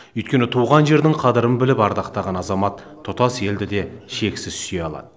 өйкені туған жердің қадірін біліп ардақтаған азамат тұтас елді де шексіз сүйе алады